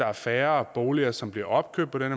er færre boliger som bliver opkøbt på den